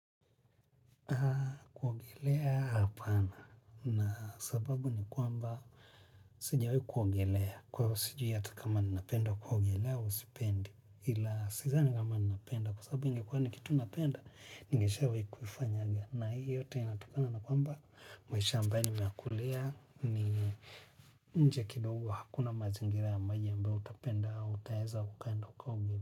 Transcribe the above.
Kuogelea hapana na sababu ni kwamba sijawe kuogelea kwa usiju yata kama ni napenda kuogelea usipendi ila sija ni kama ni napenda kwa sababu ingekwane kitu napenda ningeshawe kufanya aga na hii yote inatokana na kwamba maisha ambao ni miakulia ni nje kidogo hakuna mazingira ya maji yambao utapenda utaeza ukaenda ukaugelea.